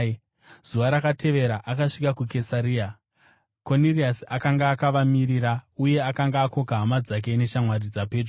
Zuva rakatevera akasvika Kesaria. Koniriasi akanga akavamirira uye akanga akoka hama dzake neshamwari dzapedyo.